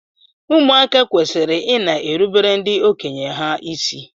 Ụmụaka kwesịrị ị na-erubere ndị okenye ha isi.